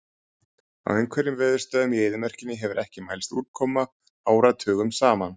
Á einhverjum veðurstöðvum í eyðimörkinni hefur ekki mælst úrkoma áratugum saman.